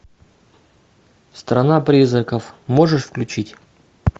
страна призраков можешь включить